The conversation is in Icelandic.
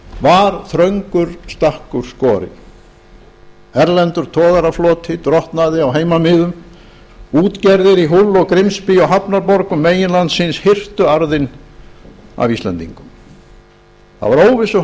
var þröngur stakkur skorinn erlendur togarafloti drottnaði á heimamiðum útgerðir í hull og grimsby og hafnarborgum meginlandsins hirtu arðinn af íslendingum það var óvissu